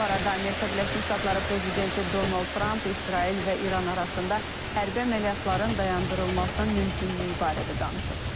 Bu arada Amerika Birləşmiş Ştatları prezidenti Donald Tramp İsrail və İran arasında hərbi əməliyyatların dayandırılmasının mümkünlüyü barədə danışıb.